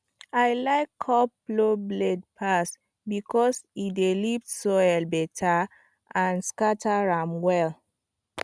i like curved plow blade pass because e dey lift soil better and scatter am well